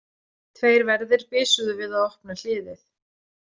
Tveir verðir bisuðu við að opna hliðið.